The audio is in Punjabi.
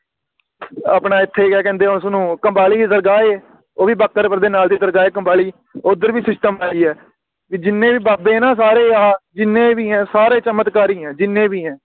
ਆਪਣਾ ਇਥੇ ਕਯਾ ਕਹਿੰਦੇ ਆ ਉਸਨੂੰ ਕੰਬਾਲੀ ਦੀ ਸਰਗਾਯੀ ਉਹ ਵੀ ਬਾਖ਼ਰਪੁਰ ਦੇ ਨਾਲ ਦੀ ਤਾਰਜਲੀ ਕੰਬਾਈ ਓਧਰ ਵੀ System ਏਹੀ ਹੈ ਵੀ ਜਿੰਨੇ ਵੀ ਬਾਬੇ ਨੇ ਉਹ ਸਾਰੇ ਆਹ ਜਿੰਨੇ ਵੀ ਆ ਚਮਤਕਾਰੀ ਆ ਜਿੰਨੇ ਵੀ ਆ